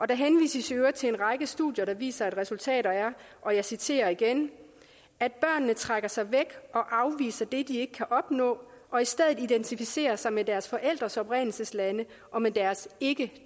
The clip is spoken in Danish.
der henvises i øvrigt til en række studier der viser at resultatet er og jeg citerer igen at børnene trækker sig væk og afviser det de ikke kan opnå og i stedet identificerer sig med deres forældres oprindelseslande og med deres ikke